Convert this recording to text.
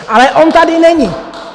Ale on tady není.